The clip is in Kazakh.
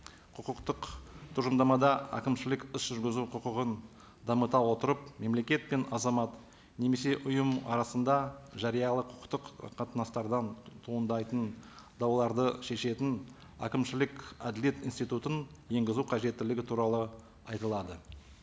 құқықтық тұжырымдамада әкімшілік іс жүргізу құқығын дамыта отырып мемлекет пен азамат немесе ұйым арасында жариялы құқықтық қатынастардан туындайтын дауларды шешетін әкімшілік әділет институтын енгізу қажеттілігі туралы айтылады